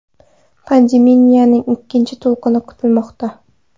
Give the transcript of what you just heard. Pandemiyaning ikkinchi to‘lqini kutilmoqda.